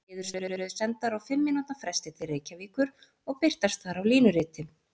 Niðurstöður eru sendar á fimm mínútna fresti til Reykjavíkur og birtast þar á línuriti.